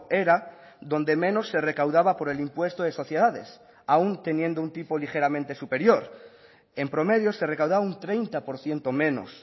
era donde menos se recaudaba por el impuesto de sociedades aun teniendo un tipo ligeramente superior en promedio se recaudaba un treinta por ciento menos